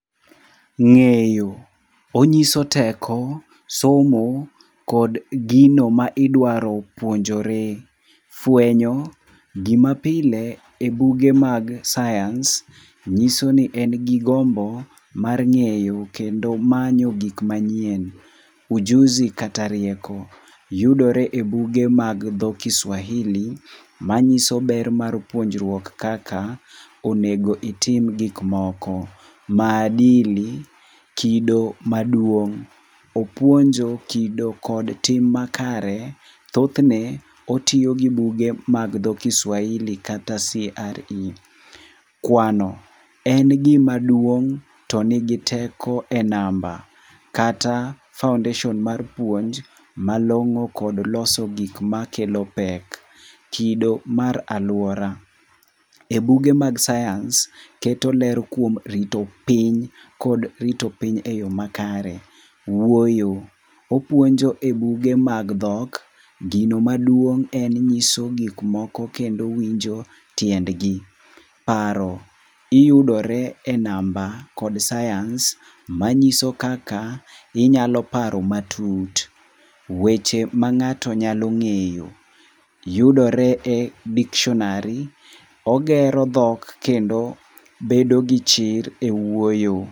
Ngeyo, oniyso teko, somo, kod gino ma idwaro puonjore. Fwenyo, gima pile e buge mag science nyiso ni en gi gombo mar ngéyo kendo manyo gik manyien. Ujuzi kata rieko, yudore e buge mag dho kiswahili ma nyiso ber mar puonruok kaka onego itim gik moko. Maadili kido maduong', opunjo kido kod tim makare. Thothne otiyo gi buge mag dho kiswahili kata CRE. Kwano, en gima duong' to nigi teko e namba, kata foundation mar puonj malongó kod loso gik makelo pek. Kido mar aluora. E buge mag science keto ler kuom rito piny, kod rito piny e yo makare. Wuoyo, opuonjo e buge mag dhok, gino maduong' en nyiso gik moko kendo winjo tiendgi. Paro, iyudore e namba kod science manyiso kaka inyalo paro matut. Weche ma ngáto nyalo ngéyo yudore e dictionary. Ogero dhok kendo bedo gi chir e wuoyo.